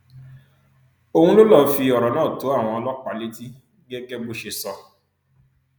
òun ló lọọ fi ọrọ náà tó àwọn ọlọpàá létí gẹgẹ bó ṣe sọ